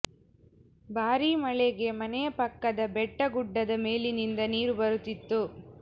ಭಾರೀ ಮಳೆಗೆ ಮನೆಯ ಪಕ್ಕದ ಬೆಟ್ಟ ಗುಡ್ಡದ ಮೇಲಿನಿಂದ ನೀರು ಬರುತ್ತಿತ್ತು